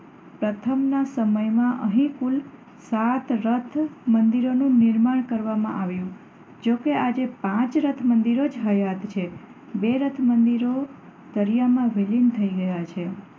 પ્રથમના સમયમાં અહીં કુલ સાત રથ મંદિરોનું નિર્માણ કરવામાં આવ્યું. જો કે આજે પાંચ રથમંદિરો જ હયાત છે. બે રથ મંદિરો દરિયામાં વિલીન થઈ ગયાં છે.